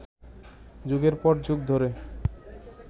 যুগের পর যুগ ধরে